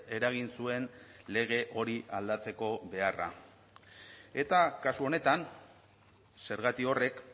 eragin zuen lege hori aldatzeko beharra eta kasu honetan zergati horrek